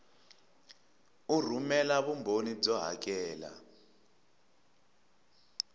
u rhumela vumbhoni byo hakela